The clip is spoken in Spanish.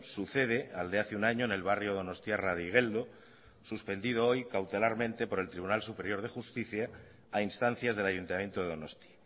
sucede al de hace un año en el barrio donostiarra de igueldo suspendido hoy cautelarmente por el tribunal superior de justicia a instancias del ayuntamiento de donosti